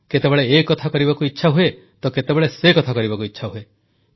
କେତେବେଳେ ଏକଥା କରିବାକୁ ଇଚ୍ଛା ହୁଏ ତ କେତେବେଳେ ସେକଥା କରିବାକୁ ଇଚ୍ଛା ହୁଏ